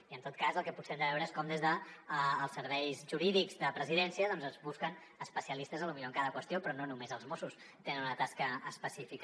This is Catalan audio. i en tot cas el que potser hem de veure és com des dels serveis jurídics de presidència es busquen especialistes potser en cada qüestió però no només els mossos tenen una tasca específica